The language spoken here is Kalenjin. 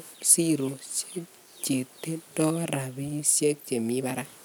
siroshek chetindoi rabishek chemi Barak